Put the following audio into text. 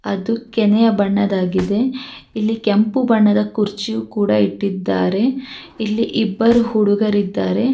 ಅದು ಕೆನೆಯ ಬಣ್ಣದಾಗಿದೆ ಇಲ್ಲಿ ಕೆಂಪು ಬಣ್ಣದ ಕುರ್ಚಿಯು ಕೂಡ ಇಟ್ಟಿದ್ದಾರೆ ಇಲ್ಲಿ ಇಬ್ಬರು ಹುಡುಗರಿದ್ದಾರೆ.